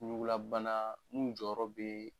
Ɲugulabana minnu jɔyɔrɔ bɛ